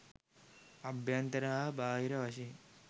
අභ්‍යන්තර හා බාහිර වශයෙන්